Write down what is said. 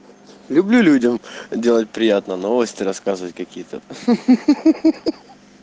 люблю людям делать приятное новости рассказывать какие-то хи-хи